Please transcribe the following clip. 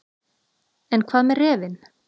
En hvað með refinn.